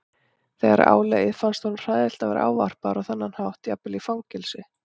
Þegar á leið fannst honum hræðilegt að vera ávarpaður á þennan hátt jafnvel í fangelsi.